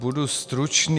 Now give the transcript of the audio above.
Budu stručný.